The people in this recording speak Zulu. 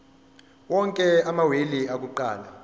onke amawili akuqala